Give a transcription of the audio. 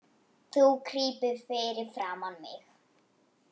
Þú krýpur fyrir framan mig.